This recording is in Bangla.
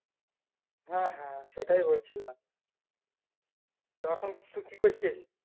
হ্যাঁ হ্যাঁ সেটাই বলছিলাম তো এখন তুই কি করছিস